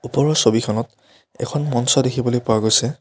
ওপৰৰ ছবিখনত এখন মঞ্চ দেখিবলৈ পোৱা গৈছে।